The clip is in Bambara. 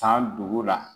San dugu la